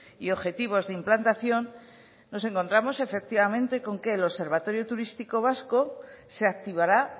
y objetivos de implantación nos encontramos efectivamente con que el observatorio turístico vasco se activará